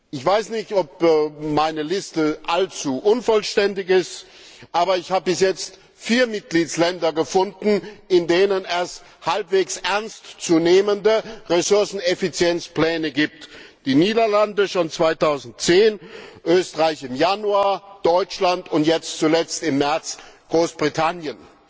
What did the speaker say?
Ich weiß nicht, ob meine Liste allzu unvollständig ist, aber ich habe bis jetzt vier Mitgliedstaaten gefunden, in denen es halbwegs ernst zu nehmende Ressourceneffizienzpläne gibt die Niederlande schon 2010, Österreich im Januar, Deutschland und jetzt zuletzt im März Großbritannien.